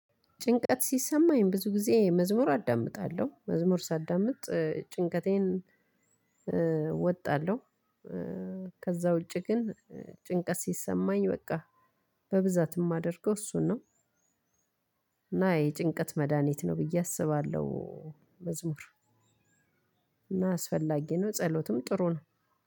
ጭንቀት ሲሰማኝ ብዙ ጊዜ መዝሙር አዳምጣለሁ መዝሙር ሳዳምጥ ጭንቀቴን እወጣለሁ። ከዛ ውጪ ግን ጭንቀት ሲሰማኝ በቃ በብዛት የማደርገው እሱን ነው። እና የጭንቀት መድሃኒት ነው ብዬ አስባለሁ። መዝሙር እና አስፈላጊ ነው ጸሎትም ጥሩ ነው።